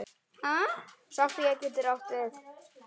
Sofía getur átt við